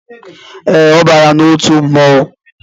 Ee, ọ bara n'otu mmọnwu